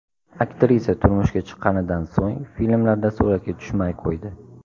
Aktrisa turmushga chiqqanidan so‘ng filmlarda suratga tushmay qo‘ydi.